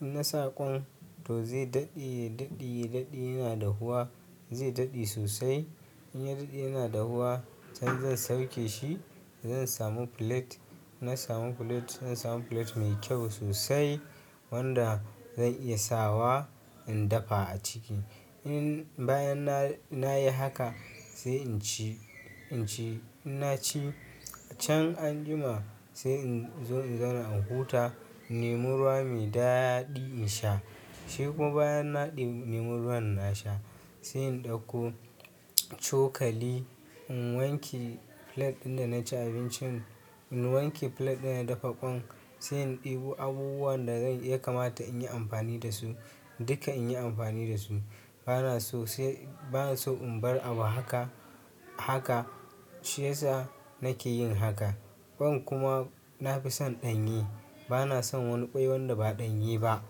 In na sa ƙwan, to zai daɗe, ya daɗe, ya daɗe yana dahuwa, zai daɗe sosai, In ya daɗe yana dahuwa, can zan sauke shi, zan samu plate, ina samu plate, zan samu plate mai kyau sosai, wanda zan iya sawa in dafa a ciki. In bayan na, na yi haka sai in ci, in ci. In na ci, can an jima sai in zo in zauna in huta, in nemi ruwa mai daɗi in sha, sai kuma bayan na ɗebi-- na nemi ruwan na sha, sai in ɗauko cokali, in wanke plate ɗin da na ci abincin, in wanke plate ɗin da na dafa ƙwan, sai in ɗebo abubuwan da zai, ya kamata in yi amfani da su, duka in yi amfani da su, bana so sai, bana so in bar abu haka, haka, shiyasa nake yin haka. Ƙwan kuma, na fi son ɗanye, bana son wani ƙwai wanda ba ɗanye ba.